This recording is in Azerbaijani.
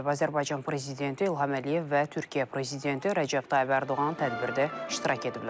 Azərbaycan prezidenti İlham Əliyev və Türkiyə prezidenti Rəcəb Tayyib Ərdoğan tədbirdə iştirak ediblər.